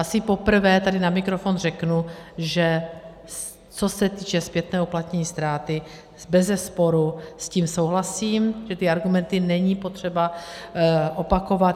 Asi poprvé tady na mikrofon řeknu, že co se týče zpětného uplatnění ztráty, bezesporu s tím souhlasím, že ty argumenty není potřeba opakovat.